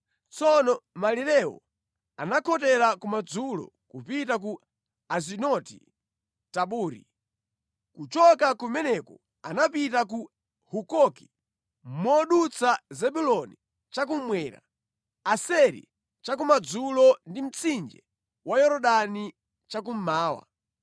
Tsono malirewo anakhotera kumadzulo kupita ku Azinoti-Tabori. Kuchoka kumeneko anapita ku Hukoki, modutsa Zebuloni cha kummwera, Aseri cha kumadzulo ndi mtsinje wa Yorodani cha kummawa.